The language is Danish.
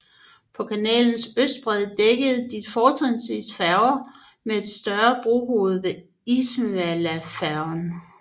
På kanalens østbred dækkede de fortrinsvis færger med et større brohoved ved Ismailia færgen